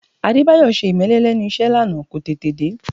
Adébáyọ̀ ṣe ìmẹ́lẹ́ lẹ́nu iṣẹ́ lánàá, kò tètè dé